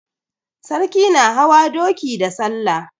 Sarki na hawa doki da salla.